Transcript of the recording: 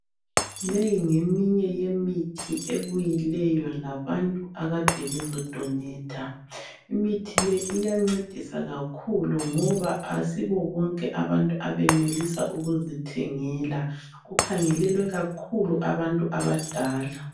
Leyi ngeminye yemithi ebuyileyo labantu akade bezodonetha. Imithi le iyancedisa kakhulu ngoba asibobonke abantu abanelisa ukuzithengela. Kukhangelelwe kakhulu abantu abadala.